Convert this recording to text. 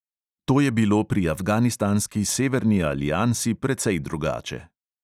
To je bilo pri afganistanski severni aliansi precej drugače.